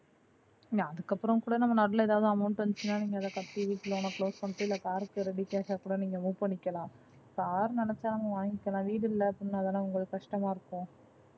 இல்ல அதுக்கப்பறம் கூட நம்ம நடுல எதாவது amount வந்துச்சுனா நீங்க அத கட்டி வீட்டு loan அ close பண்ணிட்டு, இல்ல car க்கு readycash ஆ கூட நீங்க move பண்ணிக்கலாம். Car நெனச்சாலும் வாங்கிக்கலாம் வீடு இல்லாதது தா உங்களுக்கு கஷ்டமா இருக்கும்.